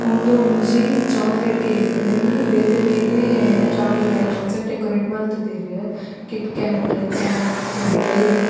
ಉಂದೊಂಜಿ chocolate cake ಇಂದೆನ್ನ್ ಬೇತೆ ಬೇತೆ ಚೋಕ್ಲೇಟ್ ಐಟಮ್ ಡೆಕೊರೇಟ್ಸ್ ಮಲ್ತುದೆರ್ ಕಿಟ್ಕೇಟ್ ಕ್ಯಾಡ್ಬರಿ ಡೈರಿಮಿಲ್ಕ್ .